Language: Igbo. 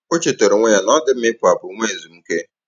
O chétàara onwé ya na ọ́ dị́ mma ị̀pụ́ àpụ́ nwè èzùmkè.